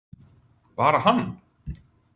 Bara hann?